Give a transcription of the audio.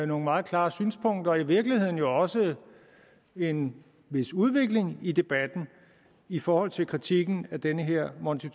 nogle meget klare synspunkter i virkeligheden også en vis udvikling i debatten i forhold til kritikken af den her monti